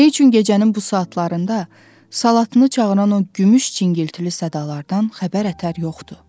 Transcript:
Nə üçün gecənin bu saatlarında salatını çağıran o gümüş cingiltili sədalardan xəbər ətər yoxdu?